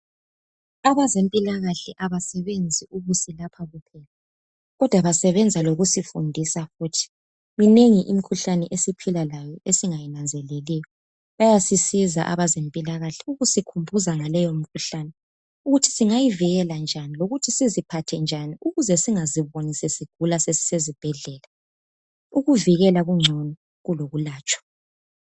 Abazempilakahle abasebenzi ukusilapha kuphela , kodwa basebenza lokusifundisa futhi , minengi imikhuhlane esiphila layo esingayinanzeleliyo , bayasisiza abezempilakahle ukusikhumbuza ngaleyo mkhuhlane ukuthi singayivikela njani lokuthi siziphathe njani , ukuze singaziboni sesigula sesisezibhedlela